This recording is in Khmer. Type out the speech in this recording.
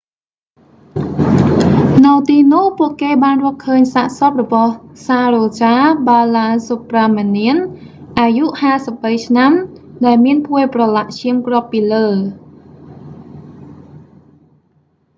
នៅទីនោះពួកគេបានរកឃើញសាកសពរបស់ saroja balasubramanian អាយុ 53 ឆ្នាំដែលមានភួយប្រឡាក់ឈាមគ្របពីលើ